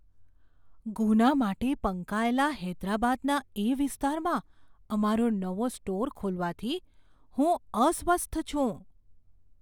ગુના માટે પંકાયેલા હૈદરાબાદના એ વિસ્તારમાં અમારો નવો સ્ટોર ખોલવાથી હું અસ્વસ્થ છું.